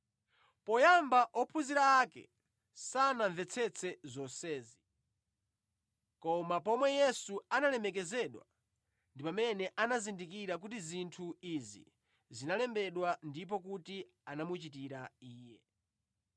Poyamba ophunzira ake sanamvetsetse zonsezi. Koma pomwe Yesu analemekezedwa ndi pamene anazindikira kuti zinthu izi zinalembedwa ndipo kuti anamuchitira Iye.